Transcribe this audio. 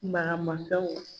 Marama